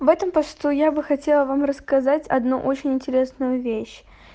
в этом посту я бы хотела вам рассказать одну очень интересную вещь